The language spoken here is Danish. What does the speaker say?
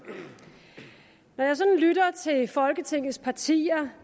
når jeg sådan lytter til folketingets partier